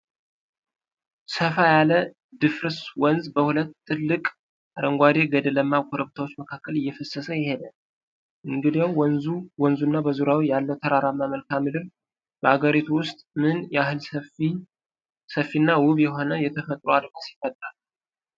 ሰፋ ያለ ድፍርስ ወንዝ በሁለት ጥልቅ አረንጓዴ ገደላማ ኮረብታዎች መካከል እየፈሰሰ ይሄዳል፤ እንግዲያው፣ ወንዙና በዙሪያው ያለው ተራራማ መልክዓ ምድር በአገሪቱ ውስጥ ምን ያህል ሰፊና ውብ የሆነ የተፈጥሮ አድማስ ይፈጥራል?